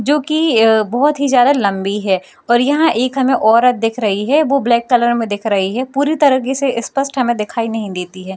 जो की अ बहुत ही ज्यादा लम्बी है और यहाँ एक हमें औरत दिख रही है वो ब्लैक में दिख रही है पूरी तरीके से स्पष्ट हमे दिखाई नही देती है |